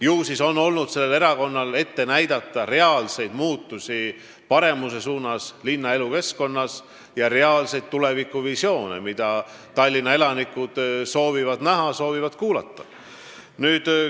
Ilmselt on sellel erakonnal siis olnud ette näidata tulemusi linna elukeskkonna paremaks muutmisel, reaalseid tulevikuvisioone, mida Tallinna elanikud soovivad näha ja kuulda.